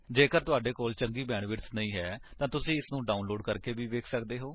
ਜੇਕਰ ਤੁਹਾਡੇ ਕੋਲ ਚੰਗੀ ਬੈਂਡਵਿਡਥ ਨਹੀਂ ਹੈ ਤਾਂ ਤੁਸੀ ਇਸਨੂੰ ਡਾਉਨਲੋਡ ਕਰਕੇ ਵੇਖ ਸੱਕਦੇ ਹੋ